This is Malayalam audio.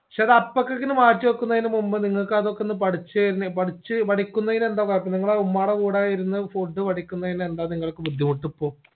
ക്ഷേ അത് അപ്പാക്കേക്കിനെ മാറ്റി വെക്കുന്നതിന് മുമ്പ് നിങ്ങക്ക് അതൊക്കൊന്ന് പഠിച്ച്ന്ന് പഠിച്ച് പഠിക്കുന്നതിന് എന്താ കുഴപ്പം നിങ്ങള് ഉമ്മാടെ കൂടെ ഇരുന്ന് food പഠിക്കുന്നതിന് എന്താ നിങ്ങൾക്ക് ബുദ്ധിമുട്ട് ഇപ്പൊ